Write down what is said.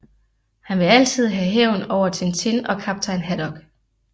Han vil altid have hævn over Tintin og Kaptajn Haddock